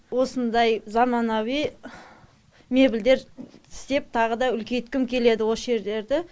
осындай заманауи мебельдер істеп тағы да үлкейткім келеді осы жерлерді